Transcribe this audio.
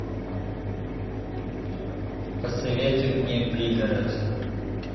посоветуй мне пригород